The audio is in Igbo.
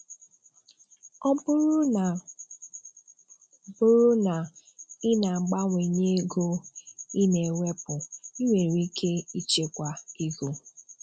Ọ̀ bụrụ́ na bụrụ́ na ị̀ na-abàwànyè ego ị̀ na-ewèpụ̀, ị̀ nwere ike ị̀chẹ́kwà ego